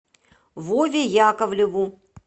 вове яковлеву